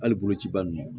Hali bolociba ninnu